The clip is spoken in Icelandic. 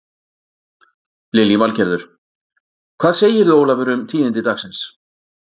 Lillý Valgerður: Hvað segirðu Ólafur um tíðindi dagsins?